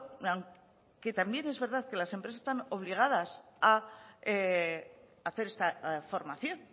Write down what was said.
también es verdad que las empresas están obligadas a hacer esta formación